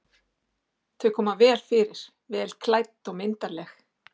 Þau koma vel fyrir, vel klædd og myndarleg.